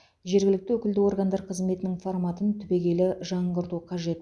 жергілікті өкілді органдар қызметінің форматын түбегейлі жаңғырту қажет